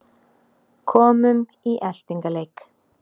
Komum í eltingaleik